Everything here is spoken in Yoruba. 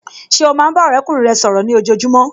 Ṣé o máa ń bá ọ̀rẹ́kùnrin rẹ sọ̀rọ̀ ní ojojúmọ́